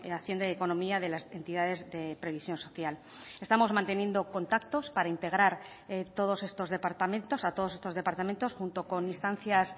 hacienda y economía de las entidades de previsión social estamos manteniendo contactos para integrar todos estos departamentos a todos estos departamentos junto con instancias